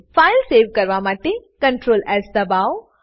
file save કરવા માટે Ctrl S દબાવો